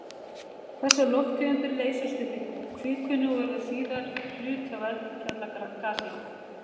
Þessar lofttegundir leysast upp í kvikunni og verða síðar hluti af eldfjallagasi.